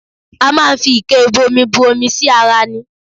A máa ń fi ike ìbomi bù omi sí ara ní